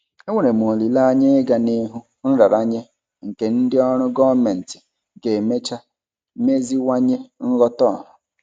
Enwere m olileanya ịga n'ihu nraranye nke ndị ọrụ gọọmentị ga-emecha meziwanye nghọta ọha.